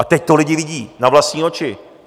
A teď to lidi vidí na vlastní oči.